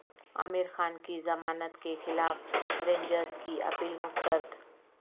عامر خان کی ضمانت کیخلاف رینجرز کی اپیل مسترد